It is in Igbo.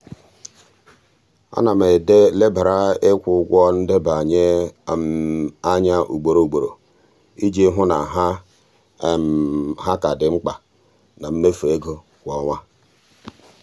ana m elebara ikwu ụgwọ ndebanye anya ugboro ugboro iji hụ na ha ha ka dị mkpa na mmefu ego kwa ọnwa.